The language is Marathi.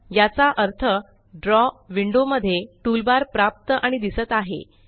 याचा अर्थ ड्रॉ विंडो मध्ये टूलबार प्राप्त आणि दिसत आहे